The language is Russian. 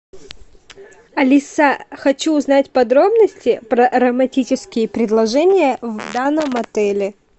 алиса хочу узнать подробности про романтические предложения в данном отеле